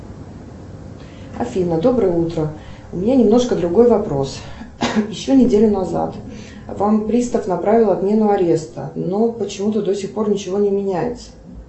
афина доброе утро у меня немножко другой вопрос еще неделю назад вам пристав направил отмену ареста но почему то до сих пор ничего не меняется